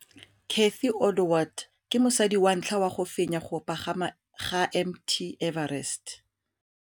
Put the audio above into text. Cathy Odowd ke mosadi wa ntlha wa go fenya go pagama ga Mt Everest.